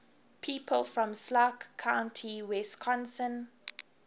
people from sauk county wisconsin